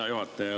Hea juhataja!